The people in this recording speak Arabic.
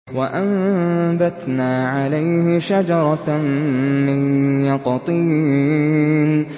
وَأَنبَتْنَا عَلَيْهِ شَجَرَةً مِّن يَقْطِينٍ